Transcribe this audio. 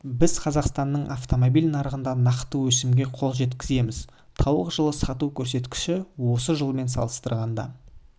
біз қазақстанның автомобиль нарығында нақты өсімге қол жеткіземіз тауық жылы сату көрсеткіші осы жылмен салыстырғанда